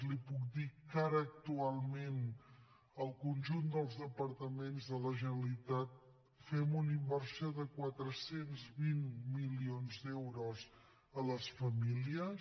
li puc dir que ara actualment el conjunt dels departaments de la generalitat fem una inversió de quatre cents i vint milions d’euros a les famílies